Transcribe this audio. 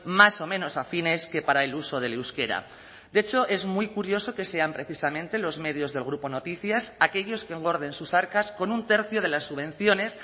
más o menos afines que para el uso del euskera de hecho es muy curioso que sean precisamente los medios del grupo noticias aquellos que engorden sus arcas con un tercio de las subvenciones